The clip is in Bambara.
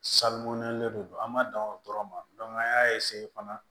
Salon le don an ma dan o dɔrɔn ma an y'a fana